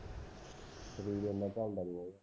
ਸ਼ਰੀਰ ਓਨ੍ਨਾ ਝੱਲਦਾ ਨਹੀਂ ਓਹਦਾ